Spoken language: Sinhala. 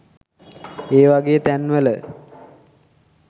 ඒ වගේ තැන්වල